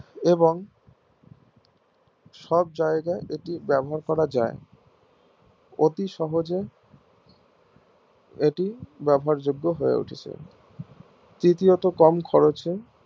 এবং সব জায়গায় এটি ব্যবহার করা যাই অতি সহজেই এটি ব্যবহার যোগ্য হয় উঠেছে তৃতীয়ত কম খরচে